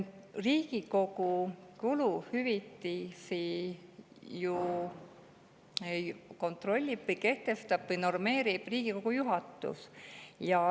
Riigikogu kuluhüvitisi kontrollib, kehtestab ja normeerib Riigikogu juhatus.